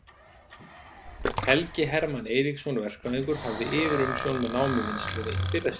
Helgi Hermann Eiríksson verkfræðingur hafði yfirumsjón með námuvinnslunni í fyrra skiptið.